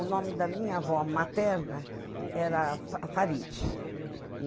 O nome da minha avó materna era fa Faride.